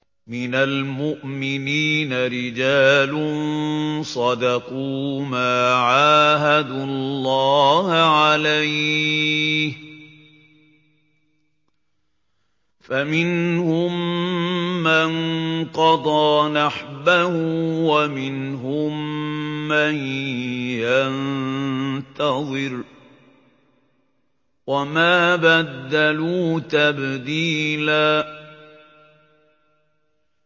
مِّنَ الْمُؤْمِنِينَ رِجَالٌ صَدَقُوا مَا عَاهَدُوا اللَّهَ عَلَيْهِ ۖ فَمِنْهُم مَّن قَضَىٰ نَحْبَهُ وَمِنْهُم مَّن يَنتَظِرُ ۖ وَمَا بَدَّلُوا تَبْدِيلًا